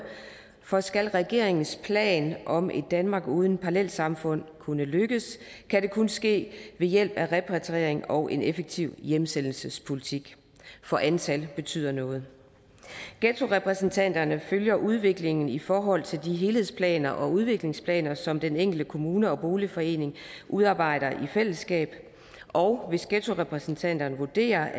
for skal regeringens plan om et danmark uden parallelsamfund kunne lykkes kan det kun ske ved hjælp af repatriering og en effektiv hjemsendelsespolitik for antal betyder noget ghettorepræsentanterne følger udviklingen i forhold til de helhedsplaner og udviklingsplaner som den enkelte kommune og boligforening udarbejder i fællesskab og hvis ghettorepræsentanterne vurderer